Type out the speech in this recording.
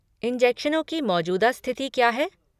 इंजेक्शनों की मौजूदा स्थिति क्या है?